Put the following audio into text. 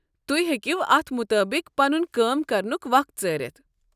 تُہۍ توہہِ ہیٚکو اتھ مُطٲبق پنُن کٲم کرنُک وق ژٲرِتھ۔